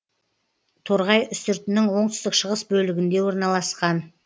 торғай үстіртінің оңтүстік шығыс бөлігінде орналасқан